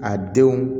A denw